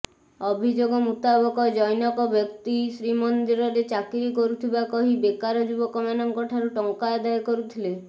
ଅଭିଯୋଗ ମୁତାବକ ଜନ୘କ ବ୍ୟକ୍ତି ଶ୍ରୀମନ୍ଦିରରେ ଚାକିରି କରୁଥିବା କହି ବେକାର ଯୁବକମାନଙ୍କଠାରୁ ଟଙ୍କା ଆଦାୟ କରିଥିଲେ